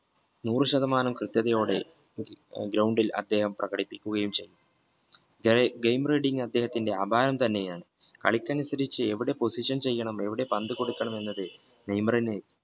നൂറു ശതമാനം കൃത്യതയോടെ ground അവിടെ അദ്ദേഹം ഇരിക്കുകയും ചെയ്തു gamereading അദ്ദേഹത്തിന്റെ അപായം തന്നെയാണ് കളിക്കാൻ തിരിച്ചു എവിടെ position ചെയ്യണം എവിടെ പന്ത് കൊടുക്കണമെന്ന് എന്ന് തന്നെ നെയ്മറിന്